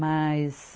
Mas...